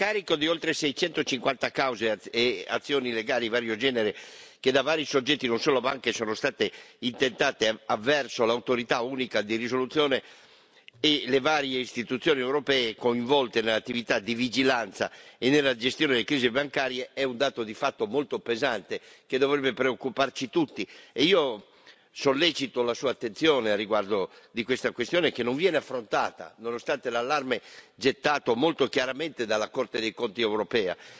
Signor Presidente, onorevoli colleghi, signor commissario, l'enorme carico di oltre 650 cause e azioni legali di vario genere che da vari soggetti, non solo banche, sono state intentate verso l'autorità unica di risoluzione e le varie istituzioni europee coinvolte nell'attività di vigilanza e nella gestione delle crisi bancarie, è un dato di fatto molto pesante, che dovrebbe preoccuparci tutti. Io sollecito la Sua attenzione al riguardo di questa questione, che non viene affrontata, nonostante l'allarme gettato molto chiaramente dalla Corte dei conti europea,